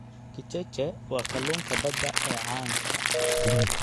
Kicheche waa kalluunka badda ee caanka ah.